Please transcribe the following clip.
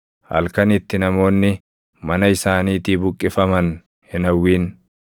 Halkan itti namoonni mana isaaniitii buqqifaman hin hawwin.